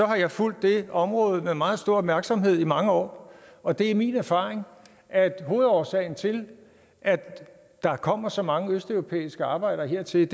har jeg fulgt det område med meget stor opmærksomhed i mange år og det er min erfaring at hovedårsagen til at der kommer så mange østeuropæiske arbejdere hertil